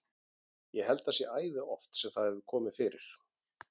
Ég held að það sé æði oft sem það hefur komið fyrir.